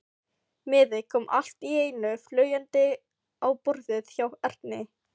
Miði kom allt í einu fljúgandi á borðið hjá Erni.